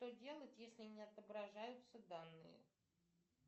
что делать если не отображаются данные